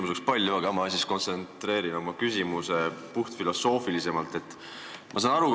Mul oleks küsimusi palju, aga ma siis kontsentreerin oma küsimuse puhtalt filosoofiliselt.